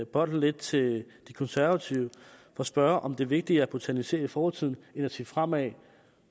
bolden lidt til de konservative og spørge om det er vigtigere at botanisere i fortiden end at se fremad